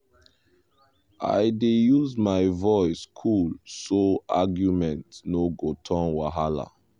i dey use my voice cool so argument no go turn wahala.